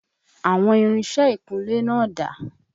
Àwọn irinṣẹ́ ìkúnlé náà dà?